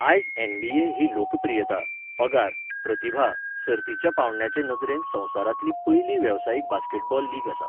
आयज एनबीए ही लोकप्रियता, पगार, प्रतिभा, सर्तीच्या पांवड्याचे नदरेन संवसारांतली पयली वेवसायीक बास्केटबॉल लीग आसा.